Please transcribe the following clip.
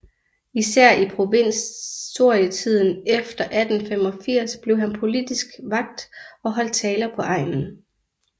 Især i provisorietiden efter 1885 blev han politisk vakt og holdt taler på egnen